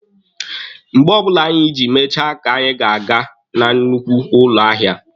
Mgbe ọbụla anyị ji mechaa ka anyị ga-aga na nnukwu ụlọ ahịa.